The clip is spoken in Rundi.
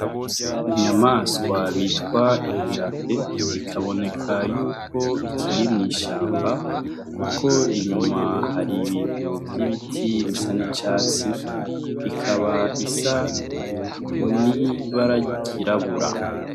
Inyamaswa bitwa inkemte bikaboneka yuko ikiri mw'ishamba, kuko inyuma hari ibintu vy'ibiti bisa n'icatsi ikaba isa nibaragirabura.